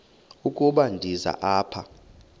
ukuba ndize apha